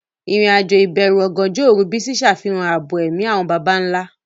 Ìrìn-àjò ìbẹ̀rù ọ̀gànjọ́ òru Bisi ṣàfihàn ààbò ẹ̀mí àwọn baba ńlá.